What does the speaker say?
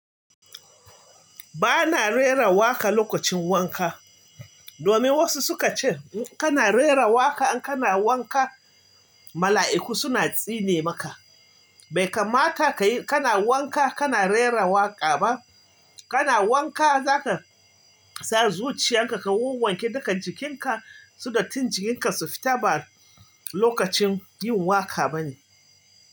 Ba na rera waka lokacin wanka. Domin wasu su ka ce in kana rerawa ka in kana wanka, mala'iku suna tsine maka. Bai kamata ka yi kana wanka kana rera waƙa ba. Kana wanka za ka sa zuciyar ka ka wawwanke duka jikin ka, su dattin jikin ka su fita ba lokacin yin waƙa ba ne.